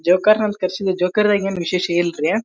ಜೋಕೇರ್ನ ಕರಸೇವೀ ಜೋಕೆರಾಗಿ ವಿಶೇಷ ಇಲ್ರಿ.